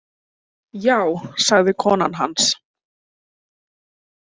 Já, sagði konan hans.